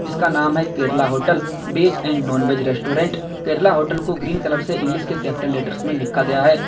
इसका नाम है Kerala hotel veg and non veg restaurant Kerala hotel को ग्रीन कलर से इंग्लिश के कैपिटल लेटरस में लिखा गया है।